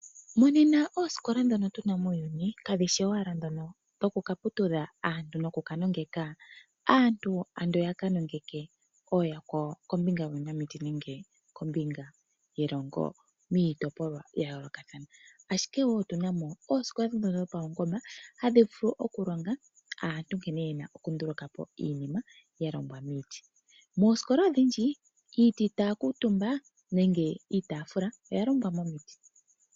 Monena oosikola dhono tu na muuyuni kadhi shi owala dhono dhoku ka putudha aantu noku ka nongeka. Aantu ando ya ka nongeke ooyakwawo kombinga yuunamiti nenge kombinga yelongo miitopolwa ya yoolokathana. Ashike wo otuna mo oosikola dhoka dhopaungomba hadhi vulu okulonga aantu nkene ye na okundulukapo iinima ya longwa miiti. Moosikola odhindji, iiti taya kuutumba nenge iitafula, oya longwa momiti.